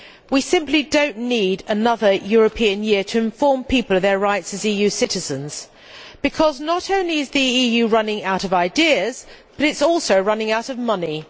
We simply do not need another European Year to inform people of their rights as EU citizens because, not only is the EU running out of ideas, but it is also running out of money.